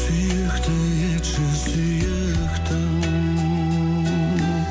сүйікті етші сүйіктім